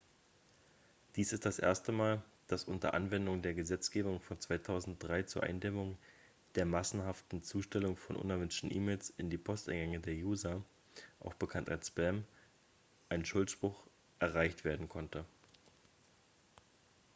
dies ist das erste mal dass unter anwendung der gesetzgebung von 2003 zur eindämmung der massenhaften zustellung von unerwünschten e-mails in die posteingänge der user auch bekannt als spam ein schuldspruch erreicht werden konnte